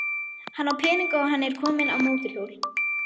Hann á peninga og hann er kominn á mótorhjól.